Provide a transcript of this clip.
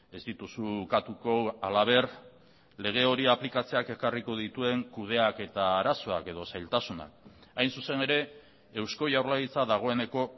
ez dituzu ukatuko halaber lege hori aplikatzeak ekarriko dituen kudeaketa arazoak edo zailtasunak hain zuzen ere eusko jaurlaritza dagoeneko